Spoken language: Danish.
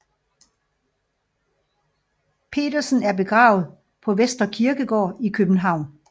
Pedersen er begravet på Vestre Kirkegård i København